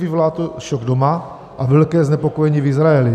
Vyvolá to šok doma a velké znepokojení v Izraeli.